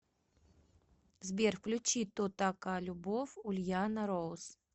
сбер включи то така любов ульяна ройс